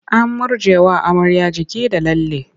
An murjjewa amarya jiki da lalle.